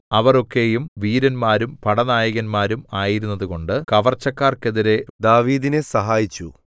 അവർ ഒക്കെയും വീരന്മാരും പടനായകന്മാരും ആയിരുന്നതുകൊണ്ട് കവർച്ചക്കാർക്കെതിരെ ദാവീദിനെ സഹായിച്ചു